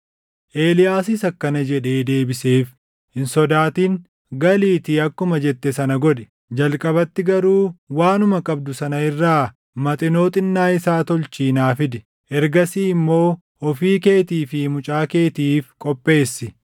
Eeliyaasis akkana jedhee deebiseef; “Hin sodaatin. Galiitii akkuma jette sana godhi. Jalqabatti garuu waanuma qabdu sana irraa Maxinoo xinnaa isaa tolchii naa fidi; ergasii immoo ofii keetii fi mucaa keetiif qopheessi.